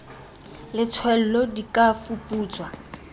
le tswello di ka fuputswa